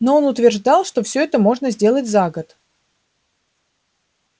но он утверждал что все это можно сделать за год